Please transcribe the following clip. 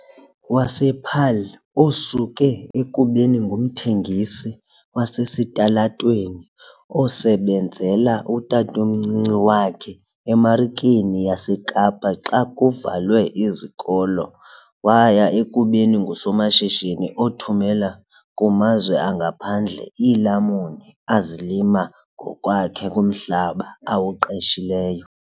wasePaarl, osuke ekubeni ngumthengisi wasesitalatweni osebenzela utatomncinci wakhe eMarikeni yaseKapa xa kuvalwe izikolo waya ekubeni ngusomashishini othumela kumazwe angaphandle iilamuni azilima ngokwakhe kumhlaba awuqeshileyo.